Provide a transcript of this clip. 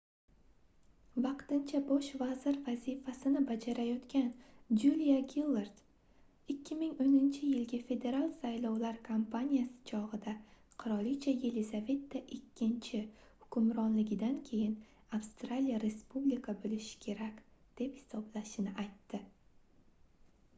vaqtincha bosh vazir vazifasini bajarayotgan juliya gillard 2010-yilgi federal saylovlar kampaniyasi chogʻida qirolicha yelizaveta ii hukmronligidan keyin avstraliya respublika boʻlishi kerak deb hisoblashini aytdi